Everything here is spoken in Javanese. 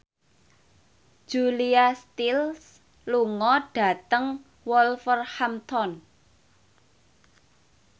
Julia Stiles lunga dhateng Wolverhampton